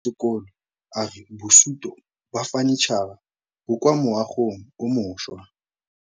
Mogokgo wa sekolo a re bosutô ba fanitšhara bo kwa moagong o mošwa.